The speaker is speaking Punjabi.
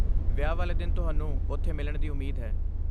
ਵਿਆਹ ਵਾਲੇ ਦਿਨ ਤੁਹਾਨੂੰ ਉੱਥੇ ਮਿਲਣ ਦੀ ਉਮੀਦ ਹੈ!